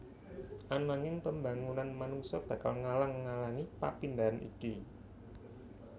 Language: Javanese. Ananging pembangunan manungsa bakal ngalang alangi papindahan iki